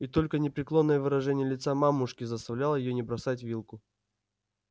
и только непреклонное выражение лица мамушки заставляло её не бросать вилку